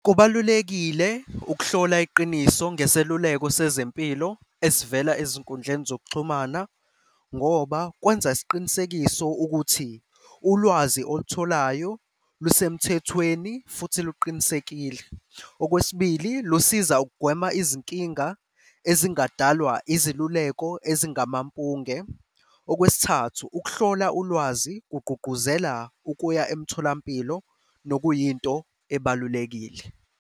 Kubalulekile ukuhlola iqiniso ngeseluleko sezempilo esivela ezinkundleni zokuxhumana ngoba kwenza isiqinisekiso ukuthi ulwazi olutholayo lusemthethweni futhi luqinisekile. Okwesibili, lusiza ukugwema izinkinga ezingadalwa iziluleko ezingamampunge. Okwesithathu, ukuhlola ulwazi kugqugquzela ukuya emtholampilo nokuyinto ebalulekile.